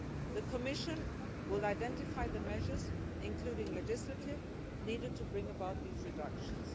The Commission will identify the measures, including legislative measures, needed to bring about these reductions.